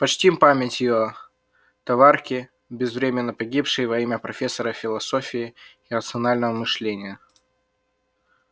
почтим память её товарки безвременно погибшей во имя профессора философии и рационального мышления